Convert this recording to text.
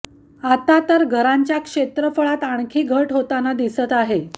आता तर घरांच्या क्षेत्रफळात आणखी घट होताना दिसत आहे